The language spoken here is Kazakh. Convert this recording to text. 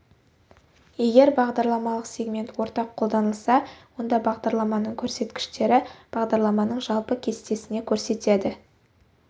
егер бағдарламалық сегмент ортақ қолданылса онда бағдарламаның көрсеткіштері бағдарламаның жалпы кестесіне көрсетеді